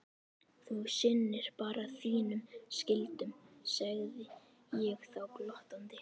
Þú sinnir bara þínum skyldum, segði ég þá glottandi.